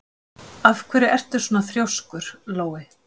Af hverju ertu svona þrjóskur, Lói?